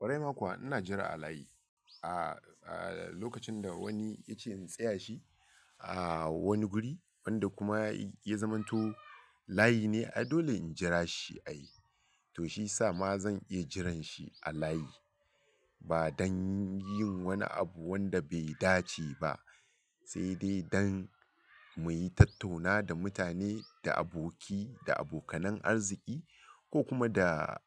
Ƙwarai makuwa, ina jira a layi a, a lokacin da wani ya ce in tsaya shi a wani guri wanda kuma ya zamanto layi ne. Ai dole in jira shi a yi. To shi sa ma zan iya jiran shi a layi ba don yin wani abu wanda bai dace ba, sai dai don mu yi tattauna da mutane, da aboki, da abokanan arziki ko kuma da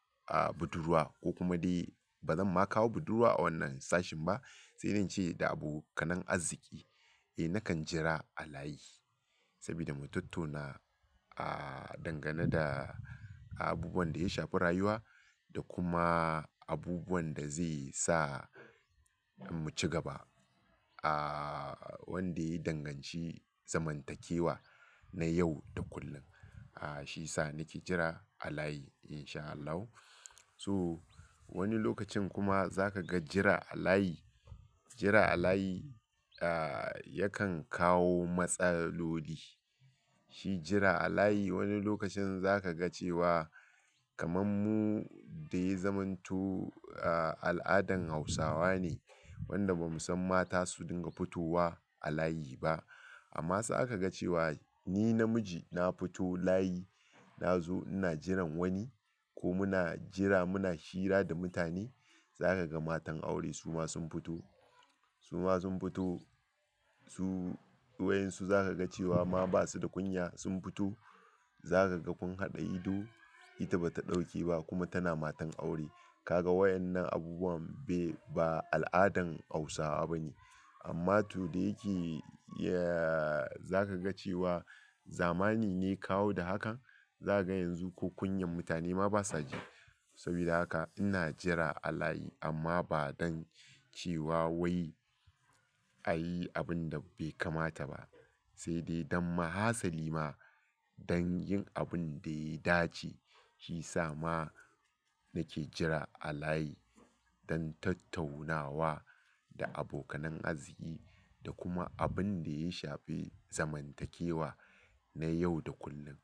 budurwa ko kuma dai bazan ma kawo budurwa a wannan sashin ba sai dai na ce da abokanan arziki. Eh nakan jira a layi saboda mu tattuna a dangane da abubuwan da ya shafi rayuwa da kuma abubuwan da zai sa mu ci gaba a wanda ya danganci zamantakewa na yau da kullum. A shi sa nake jira a layi in sha Allahu. So wani lokacin kuma za ka ga jira a layi, jira a layi yakan kawo matsaloli. Shi jira a layi wani lokacin za ka ga cewa kamar mu da ya zamanto al'adan Hausawa ne wanda ba mu san mata su dinga fitowa a layi ba. Amma sa ka ga cewa ni namiji na fito layi na zo ina jiran wani ko muna jira muna hira da mutane. Za ka ga matan aure su ma sun fito, su ma sun fito su waƴansu za ka ga cewa ma ba su da ƙungiya sun futo. Za ka ga kun haɗa ido ita ba ta ɗauke ba kuma tana matan aure. Ka ga waƴannan abubuwan bai ba al'adan Hausawa ba ne. Amma to da yake ya-- za ka ga cewa zamani ne kawo da hakan. Za ka ga yanzu ko kunyar mutane ma basa ji. Saboda haka ina jira a layi amma ba don cewa wai a yi abin da bai kamata ba, sai dai don ma hasali ma don yin abin da ya dace. Shi sa ma nake jira a layi don tattaunawa da abokanan arziki da kuma abin da ya shafi zamantakewa na yau da kullum.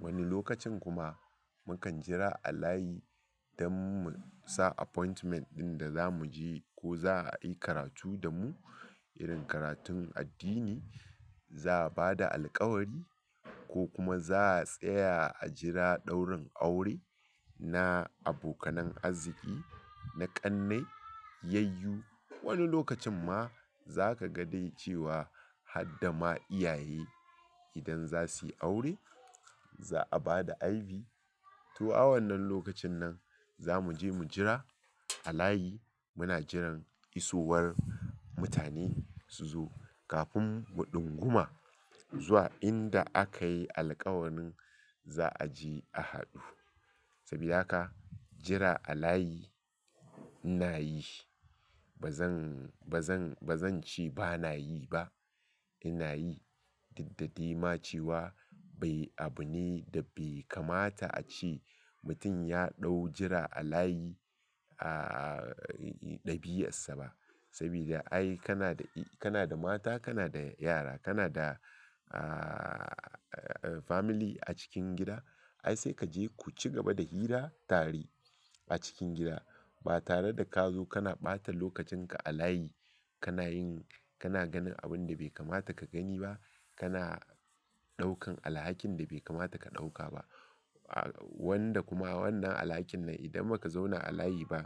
Wani lokacin kuma mukan jira a layi don mu sa appointment ɗin da za mu je ko za a yi karatu da mu irin karatun addini, za a ba da alƙawari ko kuma za a tsaya a jira ɗaurin aure na abokanan arziki, na ƙannai, yayyu. Wani lokacin ma za ka ga dai cewa har da ma iyaye idan za su yi aure za a ba da aibi. To, a wannan lokacin nan za mu je mu jira a layi. Muna jiran isowar mutane su zo kafin mu ɗingumma zuwa inda aka yi alƙawarin za a je a haɗu. Saboda haka jira a layi ina yi. Ba zan, ba zan, ba zan ce ba na yi ba. Ina yi. Daddadi ma cewa bai abu ne da bai kamata a ce mutum ya ɗau jira a layi a, a ɗabi'arsa ba. Saboda ai kana da, kana da mata, kana da yara, kana da family a cikin gida. Ai sai ka je ku ci gaba da hira tare a cikin gida ba tare da ka zo kana ɓata lokacin ka a layi. Kanayin kana ganin abinda bai kamata ka gani ba kana ɗaukan alhakin da bai kamata ka ɗauka ba. Wanda kuma wannan alhakin nan idan ba ka zauna a layi ba,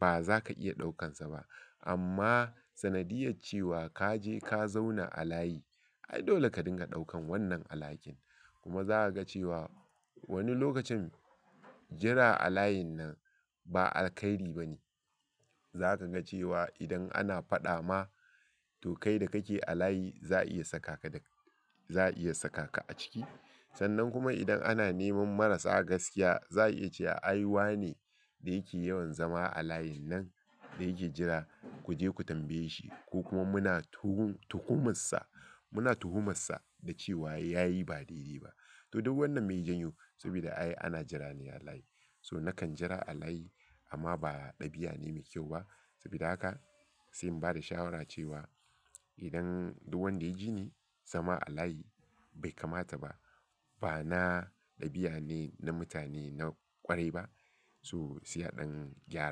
ba za ka iya ɗaukansa ba. Amma sanadiyar cewa ka je ka zauna a layi, ai dole ka dinga ɗaukan wannan alhakin. Kuma za ka ga cewa wani lokacin jira a layin nan ba alkhairi ba ne. Za ka ga cewa idan ana faɗa ma to kai da kake a layi za a iya sakaka da-- za'a iya sakaka a ciki. Sannan kuma idan ana neman marasa gaskiya za a iya cewa ai wane ne yake yawan zama a layin nan da yake jira ku je ku tambaye shi ko kuma muna tuhun, tuhumarsa. Muna tuhumarsa da cewa ya yi ba daidai ba. To duk wannan mai ya janyo saboda ai ana jira ne a layi. So nakan jira a layi amma ba ɗabi'a ne mai kyau ba. Saboda haka sai in bada shawara cewa idan duk wanda ya ji ni zama a layi bai kamata ba, ba na ɗabi'ane na mutane na ƙwarai ba. So sai a ɗan gyara.